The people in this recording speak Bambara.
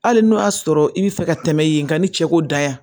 Hali n'o y'a sɔrɔ i bɛ fɛ ka tɛmɛ ye nka ni cɛ ko danya